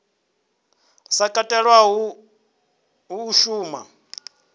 sa katelwa hu a shuma